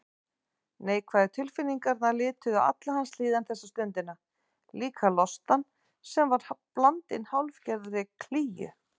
Neikvæðu tilfinningarnar lituðu alla hans líðan þessa stundina, líka lostann sem var blandinn hálfgerðri klígju.